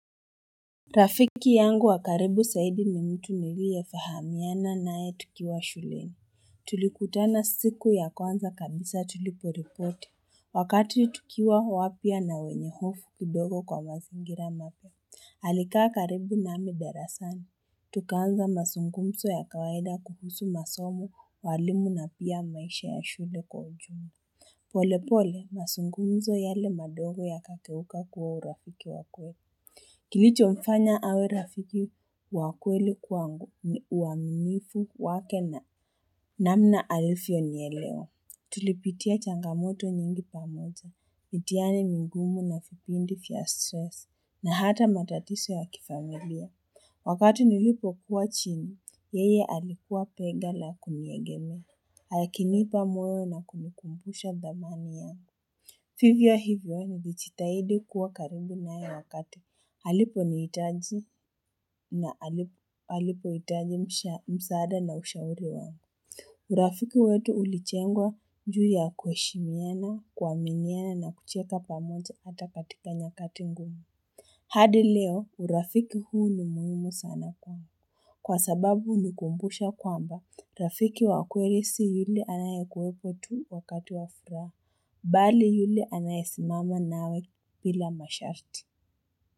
Rafiki yangu wakaribu zaidi ni mtu niliye fahamiana naye tukiwa shuleni Tulikutana siku ya kwanza kabisa tuliporipoti Wakati tukiwa wapya na wenye hofu kidogo kwa mazingira mapya Alikaa karibu nami darasani Tukaanza masungumzo ya kawaida kuhusu masomo walimu na pia maisha ya shule kwa ujumla pole pole masungumzo yale madogo ya kageuka kuwa urafiki wa kweli Kilicho mfanya awe rafiki wakweli kwangu ni uaminifu wake na namna alivyo nielewa. Tulipitia changamoto nyingi pamoja, mitihani mingumu na vipindi vya stress, na hata matatiso ya kifamilia. Wakati nilipo kuwa chini, yeye alikua pega la kuniegemea, akinipa moyo na kunikumbusha dhamani yake. Vivyo hivyo nilijitahidi kuwa karibu naye wakati alipo nihitaji na alipo hitaji msaada na ushauri wangu. Urafiki wetu ulijengwa njuu ya kuheshimiana kuaminiana na kucheka pamoja hata katika nyakati ngumu. Hadi leo urafiki huu ni muhimu sana kwangu. Kwa sababu hunikumbusha kwamba, rafiki wa kweli si yule anayekuwepo tu wakati wafuraha. Bali yule anayesi mama nawe bila masharti.